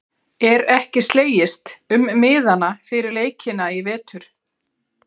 Er ekki slegist um miðana fyrir leikina í vetur?